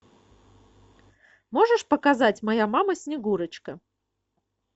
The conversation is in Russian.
можешь показать моя мама снегурочка